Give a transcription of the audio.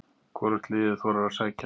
Hvorugt liðið þorir að sækja.